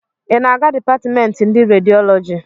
Ị na-aga dipatịmemtị ndị rediọlọji?